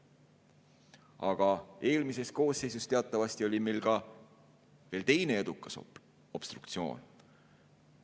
Aga eelmises koosseisus teatavasti oli meil ka veel teine edukas obstruktsioon.